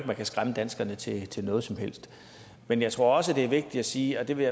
man kan skræmme danskerne til til noget som helst men jeg tror også at det er vigtigt at sige og det vil